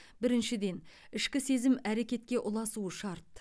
біріншіден ішкі сезім әрекетке ұласуы шарт